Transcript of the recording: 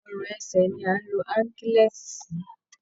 Ọrùn ẹsẹ ni à ń lo Áńkílẹ́ẹ̀ti sí